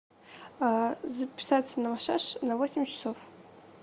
записаться на массаж на восемь часов